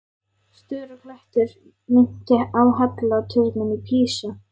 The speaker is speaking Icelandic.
Stöku klettur minnti á halla turninn í Písa.